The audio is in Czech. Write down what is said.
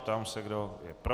Ptám se, kdo je pro.